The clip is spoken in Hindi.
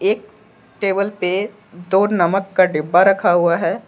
एक टेबल पे दो नमक का डिब्बा रखा हुआ है।